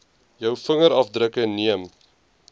jou vingerafdrukke neem